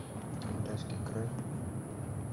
алтайский край